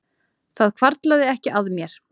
Það hvarflaði ekki að mér